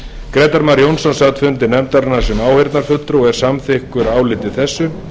grétar mar jónsson sat fund nefndarinnar sem áheyrnarfulltrúi og er samþykkur áliti þessu